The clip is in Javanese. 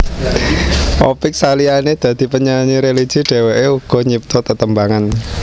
Opick saliyané dadi penyanyi religi dheweké uga nyipta tetembangan